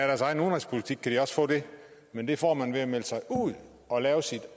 deres egen udenrigspolitik kan de også få det men det får man ved at melde sig ud og lave sit